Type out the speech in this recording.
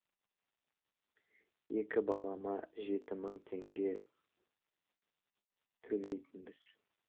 екі балама жеті мың теңге төлейтінбіз